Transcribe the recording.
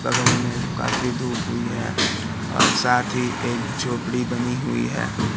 बगल में काफी धुप हुई है और साथ ही एक झोपड़ी बनी हुई है।